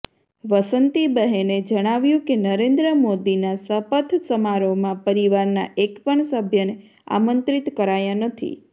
વસંતીબહેને જણાંવ્યું કે નરેન્દ્ર મોદીનાં શપથ સમારોહમાં પરિવારનાં એક પણ સભ્યને આમંત્રિત કરાયા નથી